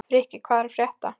Frikki, hvað er að frétta?